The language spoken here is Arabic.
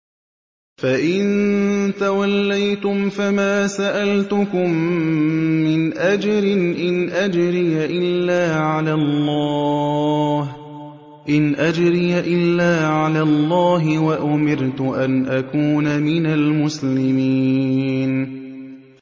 فَإِن تَوَلَّيْتُمْ فَمَا سَأَلْتُكُم مِّنْ أَجْرٍ ۖ إِنْ أَجْرِيَ إِلَّا عَلَى اللَّهِ ۖ وَأُمِرْتُ أَنْ أَكُونَ مِنَ الْمُسْلِمِينَ